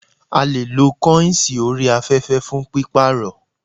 A leè lo kọ́ìnsì orí afẹ́fẹ́ fún pípàrọ̀